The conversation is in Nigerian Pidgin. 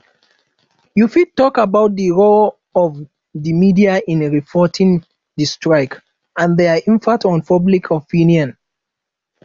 you fit talk about di role of di media in reporting di strike and dia impact on public opinion